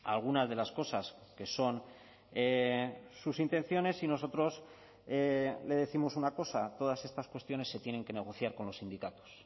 algunas de las cosas que son sus intenciones y nosotros le décimos una cosa todas estas cuestiones se tienen que negociar con los sindicatos